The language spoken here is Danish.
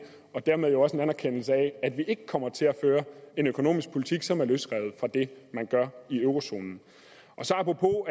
og dermed jo også en anerkendelse af at vi ikke kommer til at føre en økonomisk politik som er løsrevet fra det man gør i eurozonen så apropos